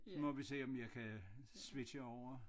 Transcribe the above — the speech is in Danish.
Så må vi se om jeg kan switche over